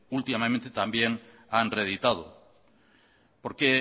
últimamente también han reeditado porque